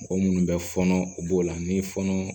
Mɔgɔ minnu bɛ fɔɔnɔ u b'o la ni fɔnɔ